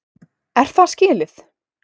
Er það skilið?